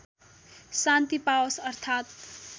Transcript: शान्ति पाओस् अर्थात्